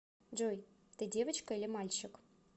джой ты девочка или мальчик